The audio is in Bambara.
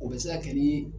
O bɛ se ka kɛ ni